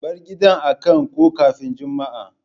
Bar gidan a kan ko kafin Jumma'a!